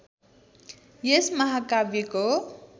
यस महाकाव्यको